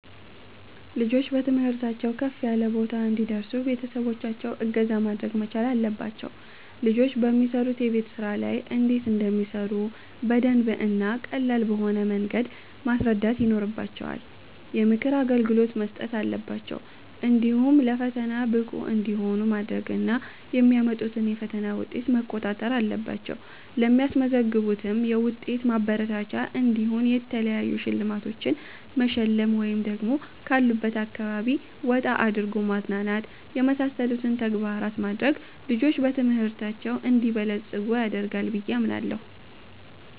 ልጆች በትምህርታቸው ከፍ ያለ ቦታ እንዲደርሱ ቤተሰቦቻቸው እገዛ ማድረግ መቻል አለባቸው ልጆች በሚሰሩት የቤት ስራ ላይ እንዴት እንደሚሰሩ በደንብ እና ቀላል በሆነ መንገድ ማስረዳት ይኖርባቸዋል፣ የምክር አገልግሎት መስጠት አለባቸው፣ እንዲሁ ለፈተና ብቁ እንዲሆኑ ማድረግ እና የሚያመጡትን የፈተና ዉጤት መቋጣጠር አለባቸው ለሚያስመዘግቡትም ዉጤት ማበረታቻ እንዲሆን የተለያዩ ሽልማቶቺን መሸለም ወይ ደግሞ ካሉበት አካባቢ ወጣ አድርጎ ማዝናናት የመሳሰሉትን ተግባራት ማድረግ ልጆች በትምህርታቸው እንዲበለፅጉ ያደርጋል ብየ አምናለሁ